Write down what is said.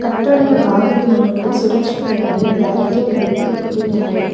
ಕಟ್ಟಡದ ಬಾಗಿಲಿನ ಮುಂದೆ ಸುರಕ್ಷತೆಗಾಗಿ ಬ್ಯಾರಿಕೆಡ್ ರೀತಿ ಇಟ್ಟಿದ್ದಾರೆ.